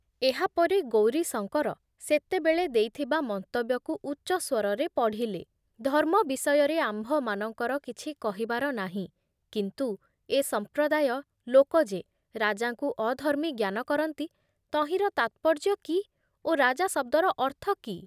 ଏହାପରେ ଗୌରୀଶଙ୍କର ସେତେବେଳେ ଦେଇଥିବା ମନ୍ତବ୍ୟକୁ ଉଚ୍ଚସ୍ବରରେ ପଢ଼ିଲେ ଧର୍ମ ବିଷୟରେ ଆମ୍ଭମାନଙ୍କର କିଛି କହିବାର ନାହିଁ କିନ୍ତୁ ଏ ସମ୍ପ୍ରଦାୟ ଲୋକ ଯେ ରାଜାଙ୍କୁ ଅଧର୍ମୀ ଜ୍ଞାନ କରନ୍ତି ତହିଁର ତାତ୍ପର୍ଯ୍ୟ କି ଓ ରାଜା ଶବ୍ଦର ଅର୍ଥ କି